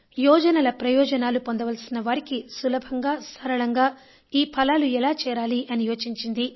యోజనల ప్రయోజనాలు పొందవలసిన వారికి సులభంగా సరళంగా ఈ ఫలాలు ఎలా చేరాలి అని యోచించింది